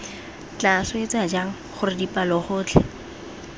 tla swetsa jang gore dipalogotlhe